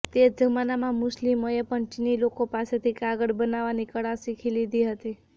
તે જમાનામાં મુસ્લિમોએ પણ ચીની લોકો પાસેથી કાગળ બનાવવાની કળા શીખી લીધી હતી